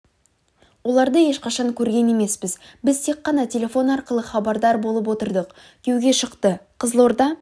оларды ешқашан көрген емеспіз біз тек қана телефон арқылы хабардар болып отырдық күйеуге шықты қызылорда